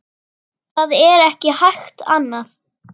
Það er ekki hægt annað.